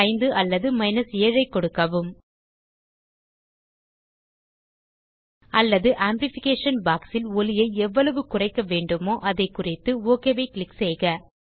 5 அல்லது 7 ஐ கொடுக்கவும் அல்லது ஆம்ப்ளிஃபிகேஷன் பாக்ஸ் இல் ஒலியை எவ்வளவு குறைக்க வேண்டுமோ அதை குறித்து ஒக் ஐ க்ளிக் செய்க